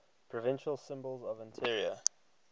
provincial symbols of ontario